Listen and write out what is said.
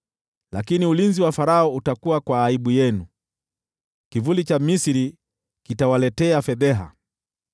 Lakini ulinzi wa Farao utakuwa kwa aibu yenu, kivuli cha Misri kitawaletea fedheha.